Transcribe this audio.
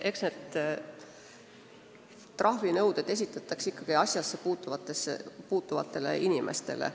Eks need trahvinõuded esitatakse ikkagi asjassepuutuvatele inimestele.